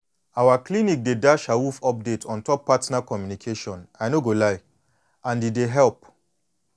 our clinic dey dash awoof update ontop partner communication i no go lie and e dey help